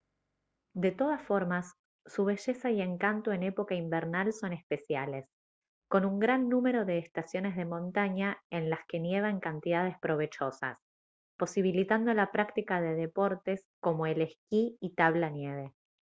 de todas formas su belleza y encanto en época invernal son especiales con un gran número de estaciones de montaña en las que nieva en cantidades provechosas posibilitando la práctica de deportes como el esquí y tabla nieve